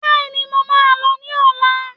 Béèni, mo máa lọ ní ọ̀la